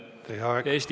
Teie aeg!